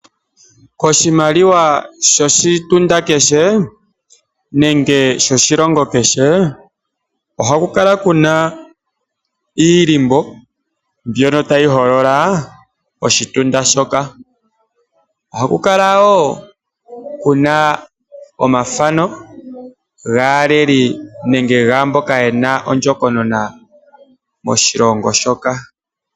Koshimaliwa shoshitunda kehe nenge shoshilongo kehe ohaku kala kuna iilimbo ndjono tayi holola oshilongo shoka. Ohaku kala kuna omafano gaaleli nenge gaamboka yena ondjokonona moshilongo shoka.